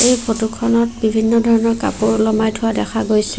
এই ফটো খনত বিভিন্ন ধৰণৰ কাপোৰ ওলোমাই থোৱা দেখা গৈছে।